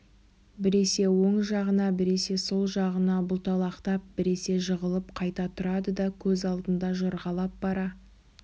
біресе оң жағына біресе сол жағына бұлталақтап біресе жығылып қайта тұрады да көз алдында жорғалап бара